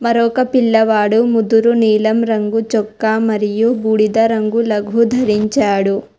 అక్కడ ఒక పిల్లవాడు ముదురు నీలం రంగు చొక్కా మరియు బూడిద రంగు లఘు దరించాడు.